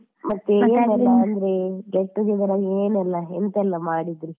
ಮತ್ತೆ ಏನ್ ಗೊತ್ತ ಅಂದ್ರೆ get together ಅಲ್ಲಿ ಏನೆಲ್ಲ ಎಂತಯೆಲ್ಲ ಮಾಡಿದ್ರೀ?